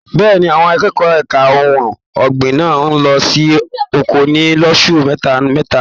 Bẹ́ẹ̀ni, àwọn akẹ́kọ̀ọ́ ẹka ohùn ọgbin máa n lọ sí oko ní loṣù mẹta mẹta.